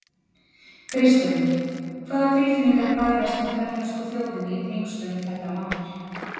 Kristján: Hvaða tilfinningar bærast með grænlensku þjóðinni í tengslum við þetta mál?